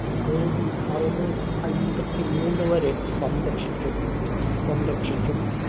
AD അറുനൂറ്റി അയ്മ്പത്തി മൂന്ന് വരെ സംരക്ഷിച്ചു സം‌‌രക്ഷിച്ചു.